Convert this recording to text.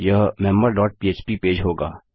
यह member dot php page होगा